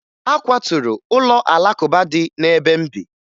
A kwaturu ụlọ Alakụba dị n'ebe m bi